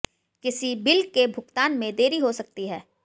किसी बिल के भुगतान में देरी हो सकती है